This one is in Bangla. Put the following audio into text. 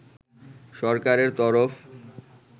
সরকারের তরফ